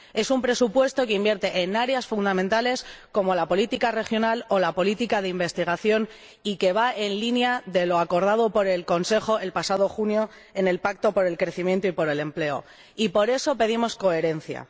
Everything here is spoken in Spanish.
Es un presupuesto que invierte en áreas fundamentales, como la política regional o la política de investigación, y que va en línea con lo acordado por el Consejo, el pasado junio, en el Pacto por el Crecimiento y el Empleo, y por eso pedimos coherencia.